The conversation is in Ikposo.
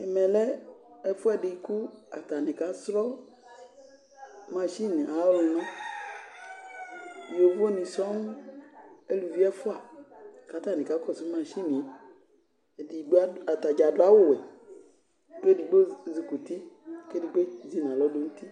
Ɛvɛ lɛ ɛfuɛdi katanɩ kasrɔ mashɩnɩ ayʊ ɔluna ƴovo nɩ sɔɔ, ʊlʊvi ɛfʊa katani kakɔsu mashɩnɩe Ataɖza dʊ awʊwɛ kedigbo ezikuti kedigbo zinalɔ nutɩ